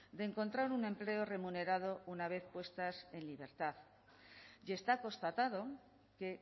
de encontrar un empleo remunerado una vez puestas en libertad y está constatado que